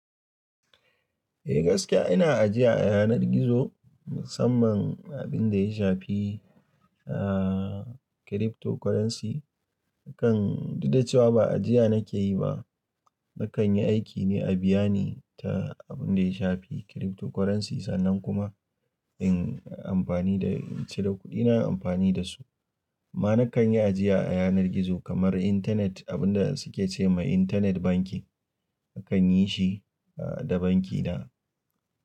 Eh gaskiya ina ajiya a yanar gizo, musamman abin da ya shafi, ah cryptocurrency. Nakan duk da cewa ba ajiya nake yi ba, nakan yi aiki ne a biya ne ta abin da ya shafi cryptocurrency sannan kuma in amfani da cire kuɗina amfani da su. Amma nakan yi ajiya a yanar gizo kamar internet abin da suke ce wa internet banking. Nakan yi shi da banki na.